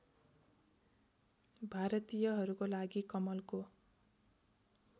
भारतीयहरूको लागि कमलको